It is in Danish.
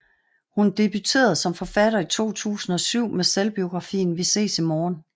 Hun debuterede som forfatter i 2007 med selvbiografien Vi ses i morgen